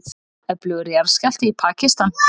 Öflugur jarðskjálfti í Pakistan